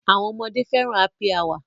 Àwọn ọmọdé fẹ́ràn Happy Hour.